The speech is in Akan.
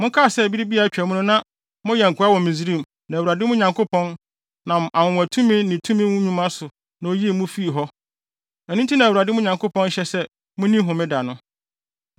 Monkae sɛ bere bi a atwa mu no na moyɛ nkoa wɔ Misraim na Awurade, mo Nyankopɔn, nam anwonwatumi ne tumi nnwuma so na oyii mo fii hɔ. Ɛno nti na Awurade mo Nyankopɔn hyɛ mo sɛ munni Homeda no.